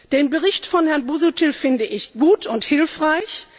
Den Bericht von Herrn Busuttil finde ich gut und hilfreich.